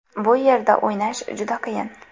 Bu yerda o‘ynash juda qiyin.